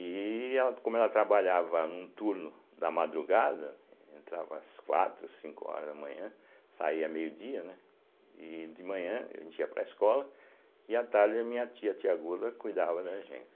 E ela como ela trabalhava no turno da madrugada, entrava às quatro, cinco horas da manhã, saía meio-dia, né, e de manhã a gente ia para a escola, e à tarde a minha tia, a tia Gula, cuidava da gente.